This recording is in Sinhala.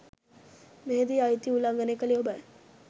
මෙහිදී අයිතිය උල්ලංඝනය කළේ ඔබයි.